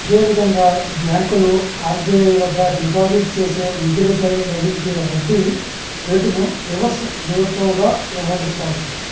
ఇదే విధంగా బ్యాంకులు ఆర్బీఐ వద్ద డిపాజిట్ చేసే నిధులపై లభించే వడ్డీ రేటును రివర్స్ రెపోగా వ్యవహరిస్తారు